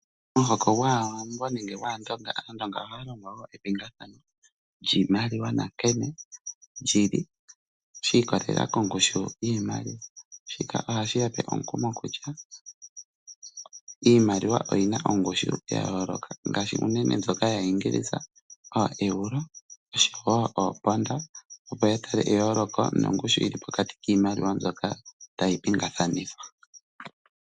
Omuhoko gwaawambo nenge gwaandonga, aandonga oha ya longwa epingathano lyiimaliwa nankene lyili shiikwatelela ko ngushu yiimaliwa shika ohashi yape omukumo kutya iimaliwa oyina ongushu yayoloka ngashi ndjoka yaaEngilisha ooEuro nosho woo omponda opo yatale eyoloko lyili pokati kiimaliwa mbyoka tayi pingathanithwa.